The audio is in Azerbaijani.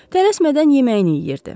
Tələsmədən yeməyini yeyirdi.